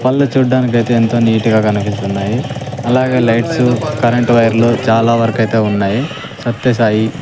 పళ్ళు చుడ్డానికైతే ఎంతో నీట్ గ కనిపిస్తున్నాయి అలాగే లైట్స్ కరెంటు వైర్లు చాలా వరకైతే ఉన్నాయి సత్య సాయి--